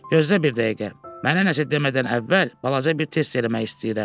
Gözlə bir dəqiqə, mənə nəsə demədən əvvəl balaca bir test eləmək istəyirəm.